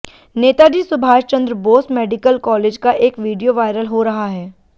Netaji Subhash Chandra Bose medical college का एक video viral हो रहा है